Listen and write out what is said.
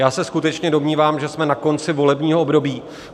Já se skutečně domnívám, že jsme na konci volebního období.